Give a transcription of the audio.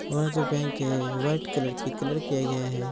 और जो बैंक है व्हाइट कलर की कलर किया गया है।